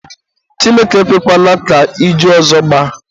Chineke ekwekwana ka iju ọzọ gbaa.